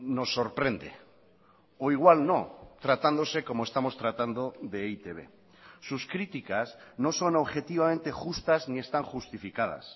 nos sorprende o igual no tratándose como estamos tratando de e i te be sus críticas no son objetivamente justas ni están justificadas